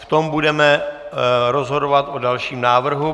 V tom budeme rozhodovat o dalším návrhu.